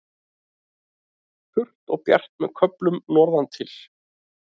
Þurrt og bjart með köflum norðantil